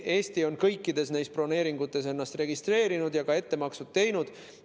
Eesti on kõikides neis broneeringutes ennast registreerinud ja ka ettemaksud teinud.